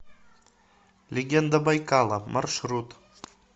легенда байкала маршрут